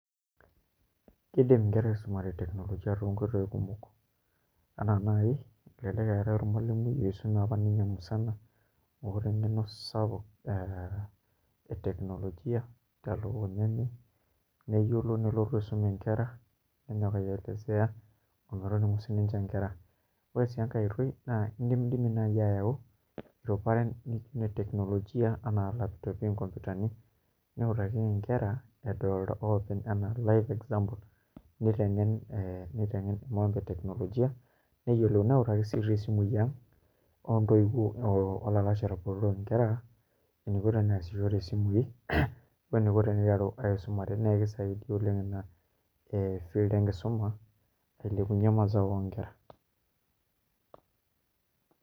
Iidim nkera aisumare teknolojia toonkoitoi kumok enaa naai elelek eetai ormalimui otii oisume apa ninye musana oota eng'eno sapuk ee teknolojia tiatua oloing'ang'e neyiolo nelotu aisum nkera nenyok aielezea ometoning'u sininche nkera, ore sii enkae oitoi naa indimidimi naai aayau iruparen e teknolojia enaa laptopi, inkompyutani niutakiki nkera edolta oopeny enaa live example niteng'en ee mambo e teknolojia neyiolou neutaki ti sii isimui ang' oo ntoiwuo oo olalashara botorok nkera amu kelo neasishore isimui eniko teniteru aisumare naa kisaidia ina field enkisuma ailepunyie mazao oonkera.